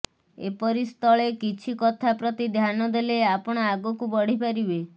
ଏପରିସ୍ଥଳେ କିଛି କଥା ପ୍ରତି ଧ୍ୟାନ ଦେଲେ ଆପଣ ଆଗକୁ ବଢିପାରିବେ